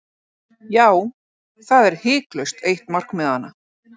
Já, það er hiklaust eitt markmiðanna.